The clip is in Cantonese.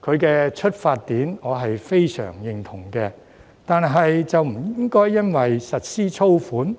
他的出發點我是非常認同的，就是不應該因為實施租管，